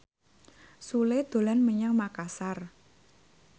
Sule dolan menyang Makasar